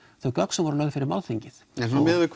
þau gögn sem voru lögð fyrir málþingið en miðað við